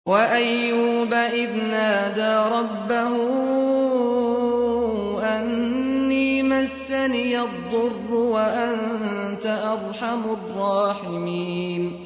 ۞ وَأَيُّوبَ إِذْ نَادَىٰ رَبَّهُ أَنِّي مَسَّنِيَ الضُّرُّ وَأَنتَ أَرْحَمُ الرَّاحِمِينَ